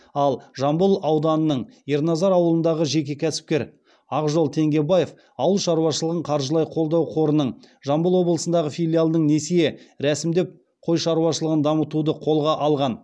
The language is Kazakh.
ал жамбыл ауданының ерназар ауылындағы жеке кәсіпкер ақжол теңгебаев ауыл шаруашылығын қаржылай қолдау қорының жамбыл облысындағы филиалынан несие рәсімдеп қой шаруашылығын дамытуды қолға алған